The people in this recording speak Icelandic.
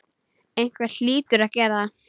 Einhver hlýtur að gera það.